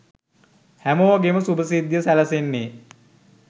හැමෝගෙම සුභ සිද්ධිය සැලසෙන්නේ